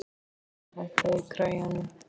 Gyðríður, hækkaðu í græjunum.